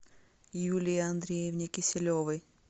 юлии андреевне киселевой